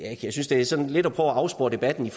er sådan lidt et forsøg på at afspore debatten